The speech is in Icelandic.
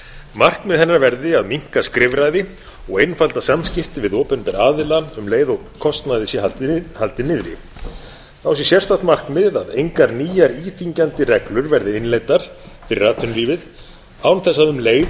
markmið hennar verði að minnka skrifræði og einfalda samskipti við opinbera aðila um leið og kostnaði sé haldið niðri þá sé sérstakt markmið að engar nýjar íþyngjandi reglur verði innleiddar fyrir atvinnulífið án þess að um leið